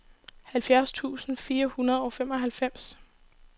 halvfjerds tusind fire hundrede og femoghalvfems